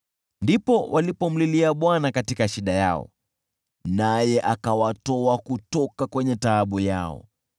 Ndipo walipomlilia Bwana katika shida yao, naye akawatoa kwenye taabu yao.